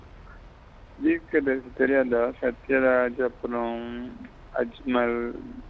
தீர்க்கதரிசி தெரியாத சத்தியராஜ் அப்புறம் அஜ்மல் கோ படத்துல வில்லனா வருவாங்க.